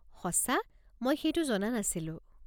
সঁচা? মই সেইটো জনা নাছিলো!